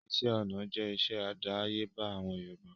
Iṣẹ́ ọná jẹ́ iṣẹ́ àdáyébá àwọn Yorùbá